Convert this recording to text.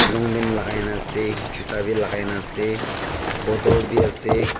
longpant lagai na ase chuta b lagai na ase bottle b ase.